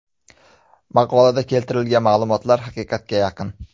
Maqolada keltirilgan ma’lumotlar haqiqatga yaqin.